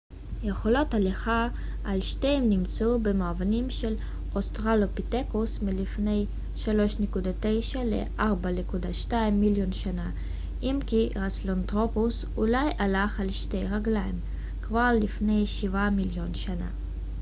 יכולות הליכה על שתיים נמצאו במאובנים של אוסטרלופיתקוס מלפני 3.9 - 4.2 מיליון שנה אם כי הסהלנתרופוס אולי הלך על שתי רגליים כבר לפני שבעה מיליון שנה